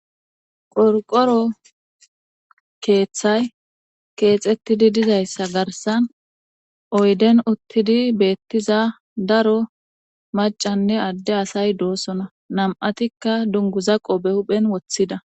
qorqoro keeththay keexettidi dizayssa garsan oyden uttidi beettiza daro macanne adde asay doosona nam7atikka dunguza qobe huphen woththida